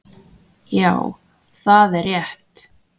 Já, það er rétt